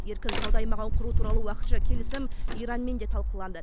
еркін сауда аймағын құру туралы уақытша келісім иранмен де талқыланды